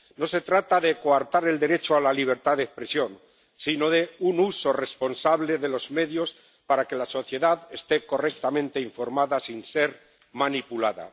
No se trata de coartar el derecho a la libertad de expresión, sino de un uso responsable de los medios para que la sociedad esté correctamente informada sin ser manipulada.